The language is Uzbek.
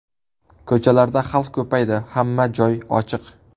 Ko‘chalarda xalq ko‘paydi, hamma joy ochiq.